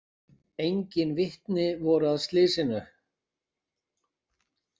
Engin vitni voru að slysinu